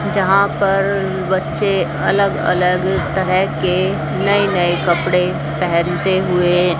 जहां पर बच्चे अलग अलग तरह के नए नए कपड़े पहनते हुए--